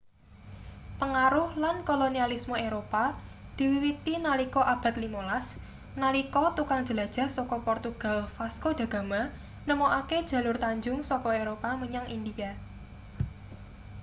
pengaruh lan kolonialisme eropa diwiwiti nalika abad 15 nalika tukang jelajah saka portugal vasco da gama nemokake jalur tanjung saka eropa menyang india